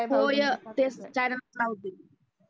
होयं तेच channel च लावतेय